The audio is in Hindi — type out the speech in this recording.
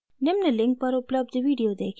निम्न link पर उपलब्ध video देखें